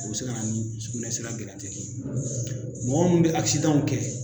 A be se ka na ni sukunɛ sira mɔgɔ min bɛ kɛ.